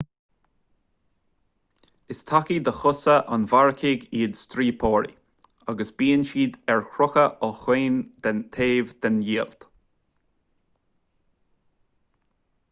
is tacaí do chosa an mharcaigh iad stíoróipí agus bíonn siad ar crochadh ó chaon taobh den diallait